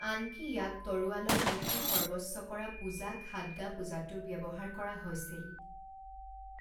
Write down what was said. আনকি ইয়াক তৰোৱালৰ নীতিসৰ্বস্ব কৰা পূজা খাদগা পূজাতো ব্যৱহাৰ কৰা হৈছিল।